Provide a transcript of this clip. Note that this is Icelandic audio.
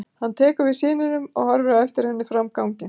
Hann tekur við syninum og horfir á eftir henni fram á ganginn.